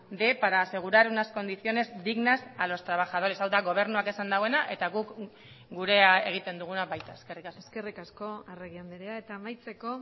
de para asegurar unas condiciones dignas a los trabajadores hau da gobernuak esan duena eta guk gurea egiten duguna baita eskerrik asko eskerrik asko arregi andrea eta amaitzeko